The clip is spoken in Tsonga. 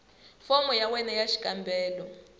fomo ya wena ya xikombelo